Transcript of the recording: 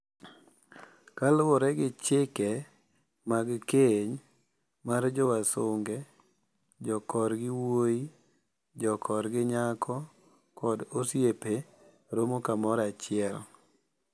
Kaluwore gi chike mag keny mar jowasunge, jokorgi wuoyi, jokorgi nyako kod osiepe romo kamoro achiel.